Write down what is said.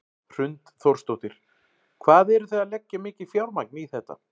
Hrund Þórsdóttir: Hvað eru þið að leggja mikið fjármagn í þetta?